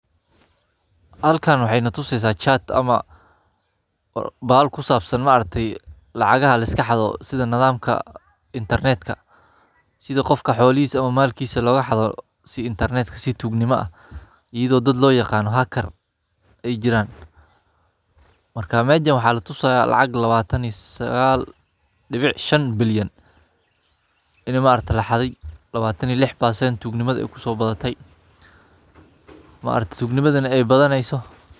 Kenya, oo ka mid ah waddamada Afrika ee si xawli ah ugu sii socdo horumarka dhanka tiknoolajiyadda, waxay wajahaysaa khataro isdaba joog ah oo dhanka internetka ah, kuwaas oo isugu jira weerarro xagga sirdoonka dijitaalka ah, xatooyo xogaha shaqsiyeed, khiyaanooyin onlenka ah, iyo weerarro dhinaca hay’adaha dowladda iyo shirkadaha waaweyn ah.